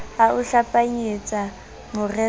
a o hlapanyetsa moreso ho